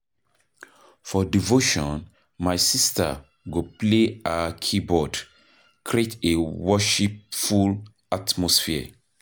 For devotion my sister go play her keyboard, create a worshipful atmosphere.